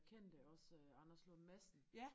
Kendte også Anders Lund Madsen